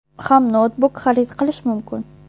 ham noutbuk xarid qilish mumkin.